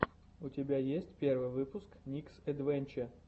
у тебя есть первый выпуск никсэдвэнче